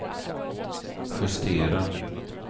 justera